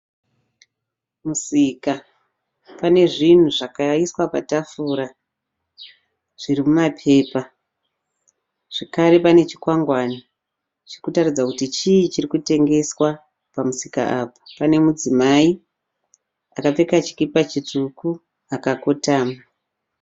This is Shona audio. Musika, panezvinhu zvakaiswa patafura. Zvirimumapepa, zvakare pane chikwagwane chirikutaridza chii chirikutengeswa pamusika apa. Pane mudzimai akapfeka chikipa chitsvuku akakotama.